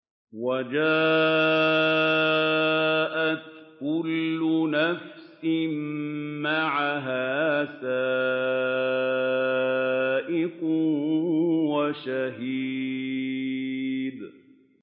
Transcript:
وَجَاءَتْ كُلُّ نَفْسٍ مَّعَهَا سَائِقٌ وَشَهِيدٌ